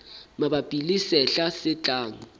mabapi le sehla se tlang